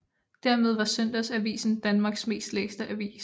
Dermed var Søndagsavisen Danmarks mest læste avis